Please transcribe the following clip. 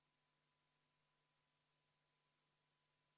Paberi järgi peaks 2025 olema kõikide maksude tõusu tulemus 89 miljonit eurot.